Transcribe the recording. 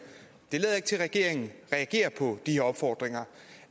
det lader ikke til at regeringen reagerer på de her opfordringer